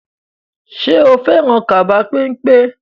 Ṣo fẹ́ràn kaba pẹ́npẹ́?